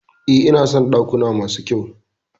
E, ina son dakuna masu kyau.